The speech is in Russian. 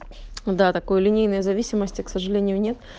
да такое линейная зависимость и к сожалению нет